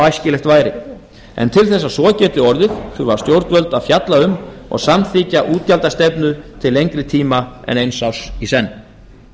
æskilegt væri en til þess að svo geti orðið þurfa stjórnvöld að fjalla um og samþykkja útgjaldastefnu til lengri tíma en eins árs í senn